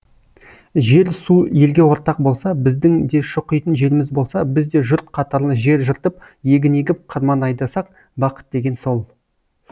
жер су елге ортақ болса біздің де шұқитын жеріміз болса біз де жұрт қатарлы жер жыртып егін егіп қырман айдасақ бақыт деген сол